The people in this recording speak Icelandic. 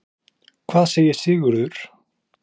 Hvað segir Sigurður?